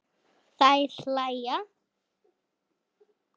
Þær hlæja.